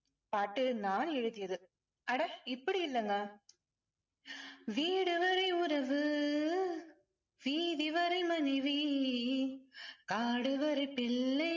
பாட்டு நான் எழுதியது. அட இப்படி இல்லைங்க வீடு வரை உறவு வீதி வரை மனைவி காடு வரை பிள்ளை